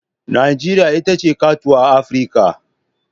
Najeriya ita ce katuwar Afirka.